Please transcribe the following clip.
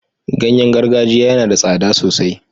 Ganye gargajiya yana da tsada sosai.